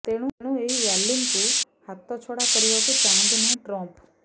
ତେଣୁ ଏହି ର୍ୟାଲିକୁ ହାତଛଡା କରିବାକୁ ଚାହାନ୍ତି ନାହିଁ ଟ୍ରମ୍ପ